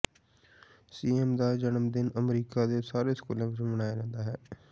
Seuss ਦਾ ਜਨਮਦਿਨ America ਦੇ ਸਾਰੇ ਸਕੂਲਾਂ ਵਿਚ ਮਨਾਇਆ ਜਾਂਦਾ ਹੈ